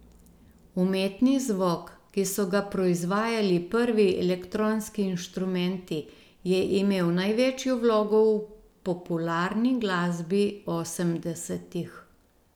Umetni zvok, ki so ga proizvajali prvi elektronski inštrumenti, je imel največjo vlogo v popularni glasbi osemdesetih.